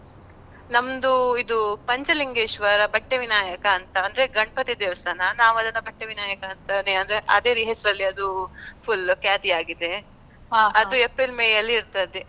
ನಮ್ದು ಇದು ಪಂಚಲಿಂಗೇಶ್ವರ ಬಟ್ಟೆವಿನಾಯಕ ಅಂತ, ಅಂದ್ರೆ ಗಣಪತಿ ದೇವಸ್ಥಾನ. ನಾವ್ ಅದನ್ನು ಬಟ್ಟೆವಿನಾಯಕ ಅಂದ್ರೆ ಅದೇ ಹೆಸ್ರಲ್ಲಿ ಅದು full ಖ್ಯಾತಿ ಆಗಿದೆ ಅದು ಏಪ್ರಿಲ್, ಮೇ ಅಲ್ಲಿ ಇರ್ತದೆ.